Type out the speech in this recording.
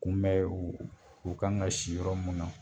Kun bɛn u u kan ka si yɔrɔ mun na.